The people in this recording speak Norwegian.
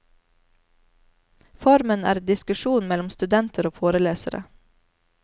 Formen er diskusjon mellom studenter og forelesere.